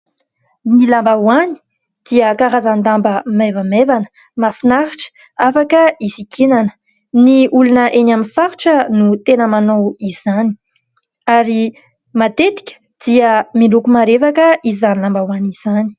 Ny lambahoany dia karazan-damba maivamaivana, mafinaritra, afaka isikinana. Ny olona eny amin'ny faritra no tena manao izany ary matetika dia miloko marevaka izany lambahoany izany.